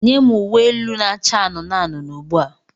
Nye m uwe elu na-acha anụnụ anụnụ ugbu a!